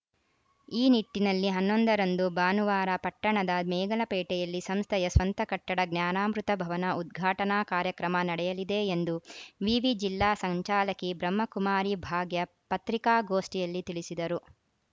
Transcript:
ಈ ನಿಟ್ಟಿನಲ್ಲಿ ಹನ್ನೊಂದ ರಂದು ಭಾನುವಾರ ಪಟ್ಟಣದ ಮೇಗಲಪೇಟೆಯಲ್ಲಿ ಸಂಸ್ಥೆಯ ಸ್ವಂತ ಕಟ್ಟಡ ಜ್ಞಾನಾಮೃತ ಭವನ ಉದ್ಘಾಟನಾ ಕಾರ್ಯಕ್ರಮ ನಡೆಯಲಿದೆ ಎಂದು ವಿವಿ ಜಿಲ್ಲಾ ಸಂಚಾಲಕಿ ಬ್ರಹ್ಮಕುಮಾರಿ ಭಾಗ್ಯ ಪತ್ರಿಕಾಗೋಷ್ಠಿಯಲ್ಲಿ ತಿಳಿಸಿದರು